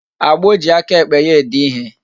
Agbo ji aka ekpe ya ede ihe